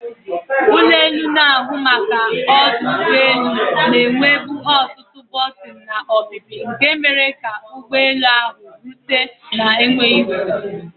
ụlọ elu na-ahụ maka ọdụ ụgbọ elu na-enwebu ọtụtụ bọtịnụ na ọpịpị nke mere ka ụgbọ elu ahụ pụọ wee rute na enweghị nsogbu